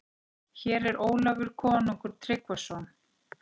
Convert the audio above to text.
Hér er Ólafur konungur Tryggvason.